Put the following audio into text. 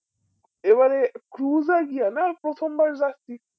এবারে খুজা গিয়া না প্রথম বার যাচ্ছি